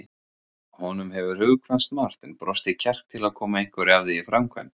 Honum hefur hugkvæmst margt en brostið kjark til að koma einhverju af því í framkvæmd.